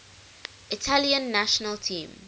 italian national team